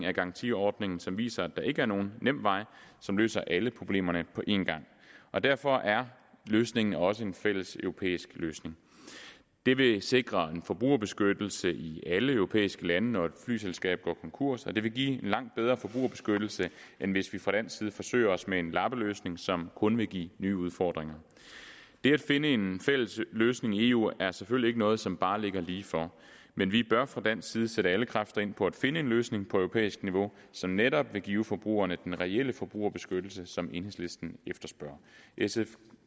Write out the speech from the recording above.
af garantiordningen som viser at der ikke er nogen nem vej som løser alle problemerne på en gang og derfor er løsningen også en fælles europæisk løsning det vil sikre en forbrugerbeskyttelse i alle europæiske lande når et flyselskab går konkurs og det vil give en langt bedre forbrugerbeskyttelse end hvis vi fra dansk side forsøger os med en lappeløsning som kun vil give nye udfordringer det at finde en fælles løsning i eu er selvfølgelig ikke noget som bare ligger lige for men vi bør fra dansk side sætte alle kræfter ind på at finde en løsning på europæisk niveau som netop vil give forbrugerne den reelle forbrugerbeskyttelse som enhedslisten efterspørger sf